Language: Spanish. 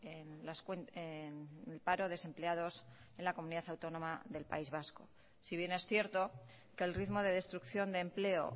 en el paro desempleados en la comunidad autónoma del país vasco si bien es cierto que el ritmo de destrucción de empleo